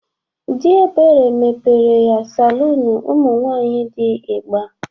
Dị Ebere mepere ya salụnụ ụmụnwaanƴi dị igba.